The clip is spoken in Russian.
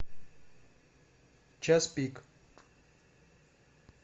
час пик